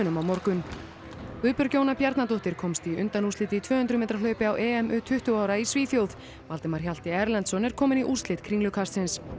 á morgun Guðbjörg Jóna Bjarnadóttir komst í undanúrslit í tvö hundruð metra hlaupi á EM u tuttugu ára í Svíþjóð Valdimar Hjalti Erlendsson er kominn í úrslit í Kringlukasti